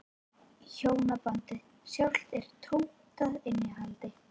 Hjónabandið sjálft er tómt að innihaldi.